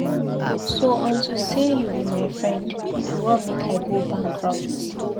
So unto say you be my friend, you wan make I go bankrupt.